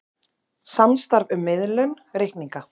Samstarf um miðlun reikninga